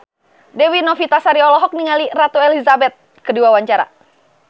Dewi Novitasari olohok ningali Ratu Elizabeth keur diwawancara